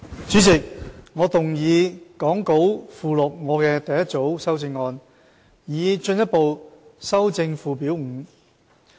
主席，我動議講稿附錄我的第一組修正案，以進一步修正附表5。